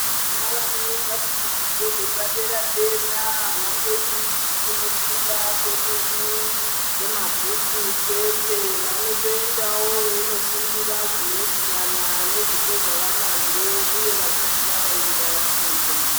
Vana vanoenda kuzvidzidzo zvepadera-dera avangoindi kundofunda kwemene kwemabhuku chete vanotoendawo veindofundira zvinoitirana nezvipo zvava nazvo uye vachizvivaraidza pfungwa.